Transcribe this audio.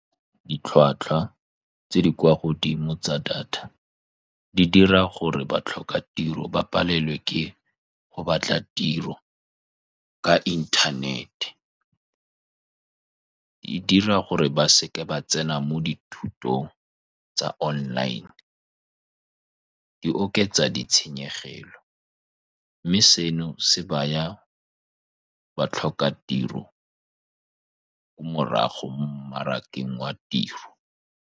Ditlhwatlhwa tse di kwa godimo tsa data di dira gore ba tlhoka tiro, ba palelwe ke go batla tiro ka inthanete. E dira gore ba seke ba tsena mo dithutong tsa online, e oketsa ditshenyegelo, mme seno se baya ba tlhoka tiro ko morago mo mmarakeng wa tiro.